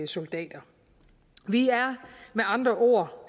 soldater vi er med andre ord